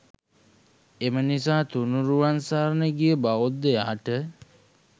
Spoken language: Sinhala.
එම නිසා තුණුරුවන් සරණ ගිය බෞද්ධයාට